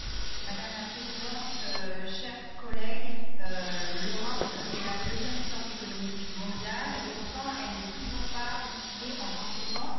Madame la Présidente, chers collègues, l'Europe est la deuxième puissance économique mondiale et, pourtant, elle n'est toujours pas outillée en conséquence.